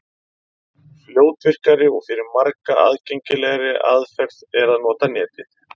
Fljótvirkari og fyrir marga aðgengilegri aðferð er að nota Netið.